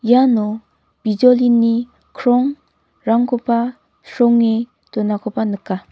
iano bijolini krong-rangkoba sronge donakoba nika.